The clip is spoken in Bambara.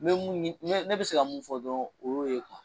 N bɛ mun ne bɛ se ka mun fɔ dɔrɔn o y'o ye .